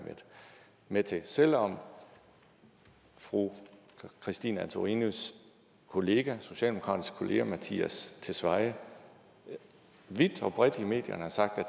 med til selv om fru christine antorinis kollega i socialdemokratiet mattias tesfaye vidt og bredt i medierne har sagt